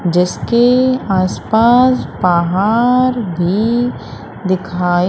जिसके आसपास पहाड़ भी दिखाई--